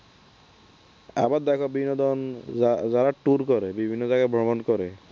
আবার দেখো বিনোদন যা যারা দেখো tour করে বিভিন্ন জায়গায় ভ্রমন করে